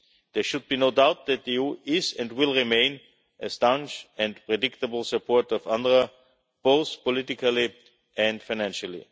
There should be no doubt that the EU is and will remain a staunch and reliable supporter of UNRWA, both politically and financially.